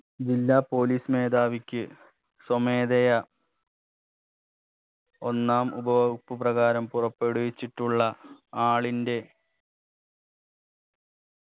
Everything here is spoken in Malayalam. ജില്ലാ police മേധാവിക്ക് സ്വമേധയാ ഒന്നാം ഉപവകുപ്പ് പ്രകാരം പുറപ്പെടുവിച്ചിട്ടുള്ള ആളിന്റെ